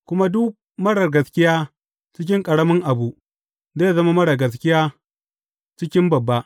Kuma duk marar gaskiya cikin ƙaramin abu, zai zama marar gaskiya cikin babba.